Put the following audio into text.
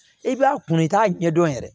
I b'a kunn i k'a ɲɛdɔn yɛrɛ